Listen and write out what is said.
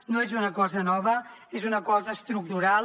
no és una cosa nova és una cosa estructural